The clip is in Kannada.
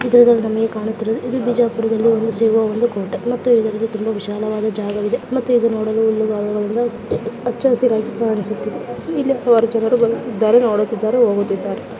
ನನಗೆ ಕಾಣುತ್ತಿರುವೆನೆಂದರೆ ಬಿಜಾಪುರದಲ್ಲಿ ಇದೊಂದು ಬಿಜಾಪುರ ಕೋಟೆ ನೋಡಲು ವಿಶಾಲವಾದ ಜಾಗವಾಗಿದೆ ಮತ್ತು ನೋಡಲು ತುಂಬಾ ಚೆನ್ನಾಗಿದೆ ಕಾಣಿಸುತ್ತಿದೆ ಹಚ್ಚಹಸಿರಾಗಿ ಕಾಣುತ್ತಿದೆ ಮತ್ತು ಬರುತ್ತಿದ್ದಾರೆ ಹೋಗುತ್ತಿದ್ದಾರೆ.